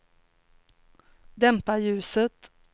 dämpa ljuset